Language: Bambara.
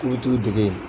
K'i bɛ t'u dege